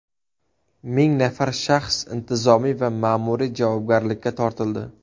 Ming nafar shaxs intizomiy va ma’muriy javobgarlikka tortildi.